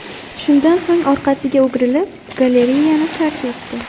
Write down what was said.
Shundan so‘ng orqasiga o‘girilib, galereyani tark etdi.